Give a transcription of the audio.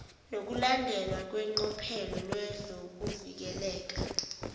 nokulandelwa kweqophelo lezokuvikeleka